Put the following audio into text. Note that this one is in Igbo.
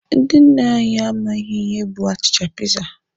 Ndị nna anyị amaghị ihe bụ achịcha piza.